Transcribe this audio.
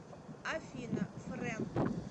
афина фрэнк